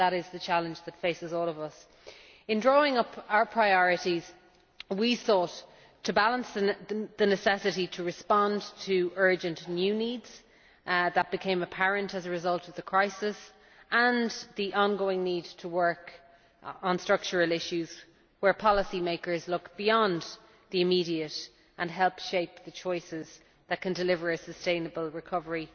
that is the challenge that faces all of us. In drawing up our priorities, we sought to balance the necessity to respond to urgent new needs that became apparent as a result of the crisis and the ongoing need to work on structural issues which policy makers need to address by looking beyond the immediate to help shape the choices that can deliver a sustainable recovery